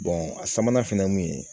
a sabanan fɛnɛ ye mun ye